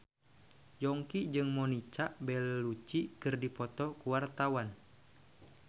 Yongki jeung Monica Belluci keur dipoto ku wartawan